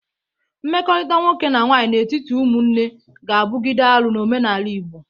Mmekọrịta nwoke na nwaanyị n'etiti ụmụnne ga-abụgide arụ n'omenala Igbo.